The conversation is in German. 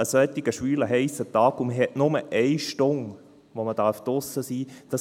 Ein solch schwüler, heisser Tag, und man hat nur eine Stunde, während der man draussen sein darf.